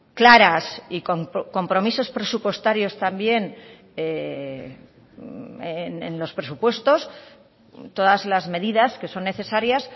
claras y con compromisos presupuestarios también en los presupuestos todas las medidas que son necesarias